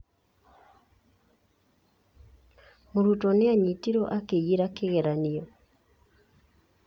Mũrutwo nĩ aanyitirũo akĩiyĩra kĩgeranio.